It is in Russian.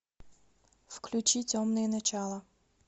включи темные начала